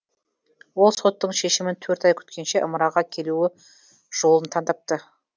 ол соттың шешімін төрт ай күткенше ымыраға келуі жолын таңдап